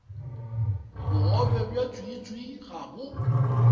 bogobe bja tswiitswii ga bo